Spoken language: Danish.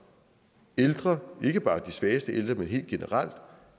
ældre ikke bare de svageste ældre men helt generelt